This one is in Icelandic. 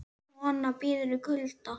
Kona bíður í kulda